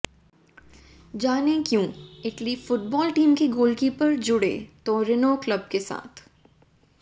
जानें क्यों Italy football team के गोलकीपर जुड़े तोरिनो क्लब के साथ